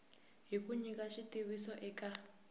hi ku nyika xitiviso eka